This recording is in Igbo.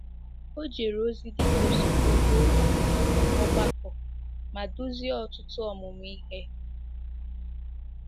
O jere ozi dị ka osote ohu ọgbakọ ma duzie ọtụtụ ọmụmụ ihe.